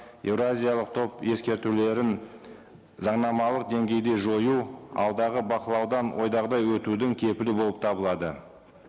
еуразиялық топ ескертулерін заңнамалық деңгейде жою алдағы бақылаудан ойдағыдай өтудің кепілі болып табылады